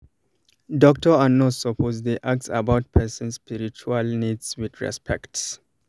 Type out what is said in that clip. doctor and nurse suppose dey ask about person spiritual needs with respect